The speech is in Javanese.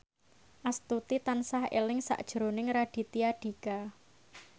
Astuti tansah eling sakjroning Raditya Dika